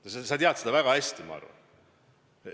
Ja sa tead seda väga hästi, ma arvan.